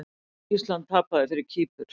Ísland tapaði fyrir Kýpur